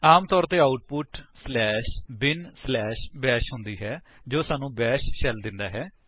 ਆਮ ਤੌਰ ਤੇ output bin bash ਹੁੰਦੀ ਹੈ ਜੋ ਸਾਨੂੰ ਬੈਸ਼ ਸ਼ੈਲ ਦਿੰਦਾ ਹੈ